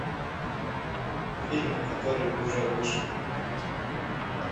фильмы которые уже вышли